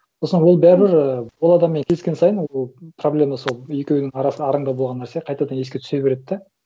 сосын ол бәрібір і ол адаммен кездескен сайын ол проблема сол екеуінің арасы араңда болған нәрсе қайтадан еске түсе береді да